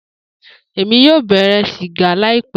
Emi yoo bẹrẹ siga laipẹ